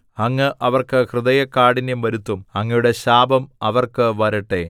അങ്ങ് അവർക്ക് ഹൃദയകാഠിന്യം വരുത്തും അങ്ങയുടെ ശാപം അവർക്ക് വരട്ടെ